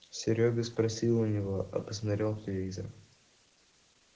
серёга спросил у него а посмотрел в телевизор